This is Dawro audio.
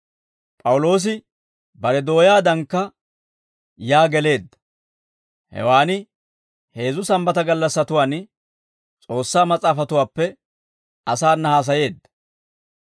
P'awuloosi bare dooyaadankka yaa geleedda; hewaan heezzu Sambbata gallassatuwaan S'oossaa Mas'aafatuwaappe asaana haasayeedda;